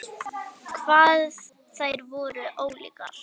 Hvað þær voru ólíkar!